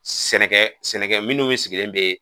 Sɛnɛkɛ sɛnɛkɛ minnu sigilen bɛ.